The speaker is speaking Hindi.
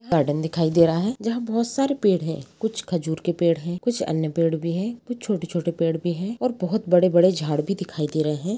गार्डन दिखाई दे रहा है जहाँ बहोत सारे पेड़ है कुछ खजूर के पेड़ है कुछ अन्य पेड़ भी है कुछ छोटे -छोटे पेड़ भी है और बहोत बड़े -बड़े झाड़ भी दिखाई दे रहे हैं।